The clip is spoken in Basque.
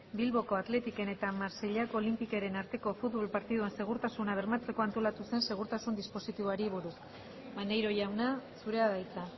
bilboko athleticen eta marseillako olympiqueren arteko futbol partidan segurtasuna bermatzeko antolatu zen segurtasun dispositiboari buruz maneiro jauna zurea da hitza